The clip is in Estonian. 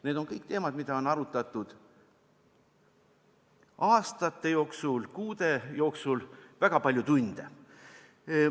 Need on kõik teemad, mida on arutatud aastate jooksul ja kuude jooksul, väga palju tunde.